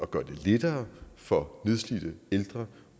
gøre det lettere for nedslidte ældre